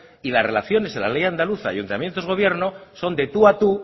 y las relaciones en la ley andaluza ayuntamientos gobierno son de tú a tú